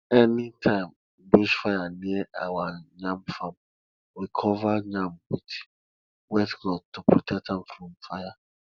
anytime bush fire near our yam farm we cover yam with wet cloth to protect am from fire